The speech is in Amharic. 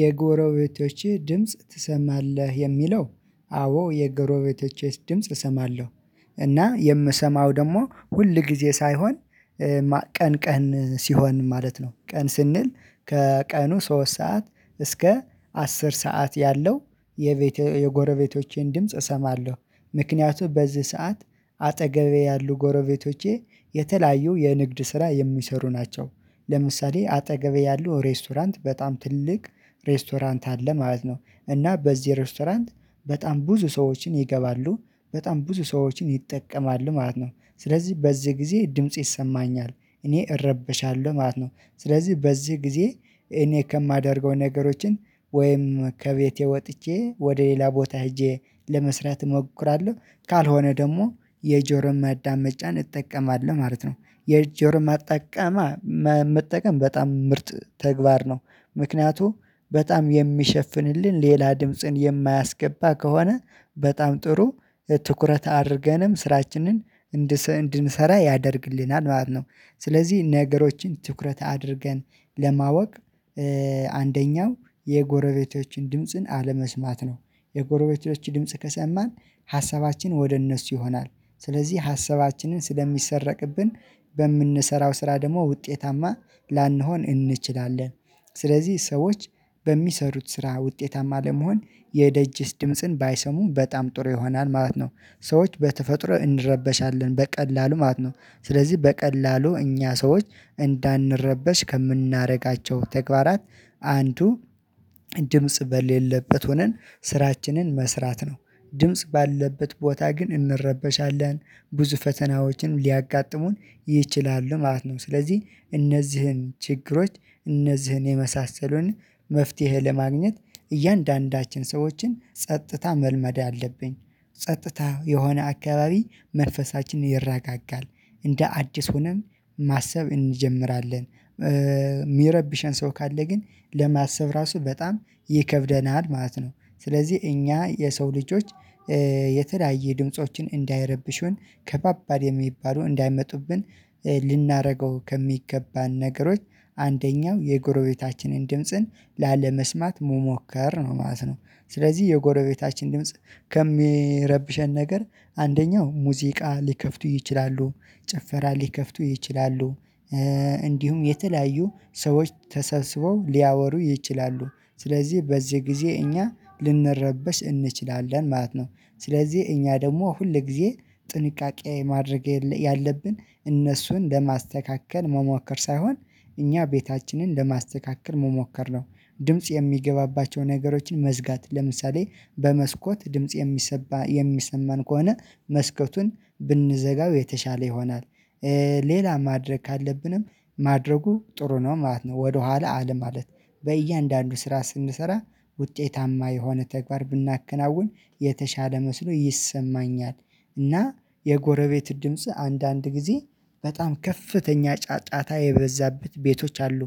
የጎረቤቶቼ ድምጽ ትሰማለህ የሚለው አዎ የጎረቤቶቼስ ድምጽ እሰማለሁ። እና የምሰማው ደግሞ ሁል ጊዜ ሳይሆን ቀን ቀን ሲሆን ማለት ነው። ቀን ስንል ከቀኑ ሶስት ሰዓት እስከ አስር ሰዓት ያለው የቤት የጎረቤቶቼን ድምጽ እሰማለሁ። ምክንያቱም በዚህ ሰዓት አጠገቤ ያሉ ጎረቤቶቼ የተለያዩ የንግድ ስራ የሚሰሩ ናቸው። ለምሳሌ አጠገቤ ያሉ ሬስቶራንት በጣም ትልቅ ሬስቶራንት አለ ማለት ነው። እና በዚህ ሬስቶራንት በጣም ብዙ ሰዎችን ይገባሉ በጣም ብዙ ሰዎችን ይጠቀማሉ ማለት ነው። ስለዚህ በዚህ ጊዜ ድምጽ ይሰማኛል እኔ እረበሻለሁ ማለት ነው። ስለዚህ በዚህ ጊዜ እኔ ከማደርገው ነገሮችን ወይም ከቤቴ ወጥቼ ወደ ሌላ ቦታ ሄጄ ለመስራት እሞክራለሁ። ካልሆነ ደግሞ የጆሮን ማዳመጫን እጠቀማለሁ ማለት ነው። የጆሮ ማጠቀማ መጠቀም በጣም ምርጥ ተግባር ነው። ምክንያቱም በጣም የሚሸፍንልን ሌላ ድምጽን የማያስገባ ከሆነ በጣም ጥሩ ትኩረት አድርገንም ስራችንን እንድንሰራ ያደርግልናል ማለት ነው። ስለዚህ ነገሮችን ትኩረት አድርገን ለማወቅ አንደኛው የጎረቤቶችን ድምጽን አለመስማት ነው። የጎረቤቶች ድምጽ ከሰማን ሀሳባችን ወደ እነሱ ይሆናል ስለዚህ ሀሳባችንን ስለሚሰረቅብን በምንሰራው ስራ ደግሞ ውጤታማ ላንሆን እንችላለን። ስለዚህ ሰዎች በሚሰሩት ስራ ውጤታማ ለመሆን የደጅስ ድምጽን ባይሰሙም በጣም ጥሩ ይሆናል ማለት ነው። ሰዎች በተፈጥሮ እንረበሻለን በቀላሉ ማለት ነው። ስለዚህ በቀላሉ እኛ ሰዎች እንዳንረበሽ ከምናረጋቸው ተግባራት አንዱ ድምጽ በሌለበት ሆነን ስራችንን መስራት ነው። ድምጽ ባለበት ቦታ ግን እንረበሻለን ብዙ ፈተናዎችን ሊያጋጥሙን ይችላሉ ማለት ነው። ስለዚህ እነዚህን ችግሮች እነዚህን የመሳሰሉንን መፍትሄ ለማግኘት እያንዳንዳችን ሰዎችን ጸጥታ መልመድ አለብኝ። ጸጥታ የሆነ አካባቢ መንፈሳችንን ይረጋጋል እንደ አዲስ ሆነን ማሰብ እንጀምራለን። የሚረብሸን ሰው ካለ ግን ለማሰብ ራሱ በጣም ይከብደናል ማለት ነው። ስለዚህ እኛ የሰው ልጆች የተለያየ ድምፆችን እንዳይረብሹን ከባባድ የሚባሉ እንዳይመጡብን ልናደርገው ከሚገባን ነገሮች አንደኛው የጎረቤታችንን ድምጽን ላለመስማት መሞከር ነው ማለት ነው። ስለዚህ የጎረቤታችን ድምጽ ከሚረብሸን ነገር አንደኛው ሙዚቃ ሊከፍቱ ይችላሉ ጭፈራ ሊከፍቱ ይችላሉ። እንዲሁም የተለያዩ ሰዎች ተሰብስበው ሊያወሩ ይችላሉ። ስለዚህ በዚህ ጊዜ እኛ ልንረበሽ እንችላለን ማለት ነው። ስለዚህ እኛ ደግሞ ሁል ጊዜ ጥንቃቄ ማድረግ ያለብን እነሱን ለማስተካከል መሞከር ሳይሆን እኛ ቤታችንን ለማስተካከል መሞከር ነው። ድምጽ የሚገባባቸውን ነገሮችን መዝጋት ለምሳሌ በመስኮት ድምጽ የሚሰማ የሚሰማን ከሆነ መስኮቱን ብንዘጋው የተሻለ ይሆናል። ሌላ ማድረግ ካለብንም ማድረጉ ጥሩ ነው ማለት ነው። ወደኋላ አለ ማለት በእያንዳንዱ ስራ ስንሰራ ውጤታማ የሆነ ተግባር ብናከናውን የተሻለ መስሎ ይሰማኛል። እና የጎረቤት ድምጽ አንዳንድ ጊዜ በጣም ከፍተኛ ጫጫታ የበዛበት ቤቶች አሉ።